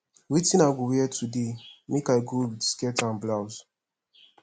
wetin i go wear today make i go with skirt and blouse